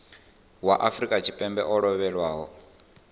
wa afrika tshipembe o lovhelaho